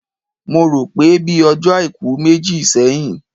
Mo rò pé bíi ọjọ́ Àìkú méjì sẹ́yìn